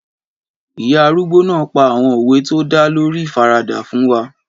Ìyá arúgbó náà pa àwọn òwe tó dá lórí ìfaradà fún wa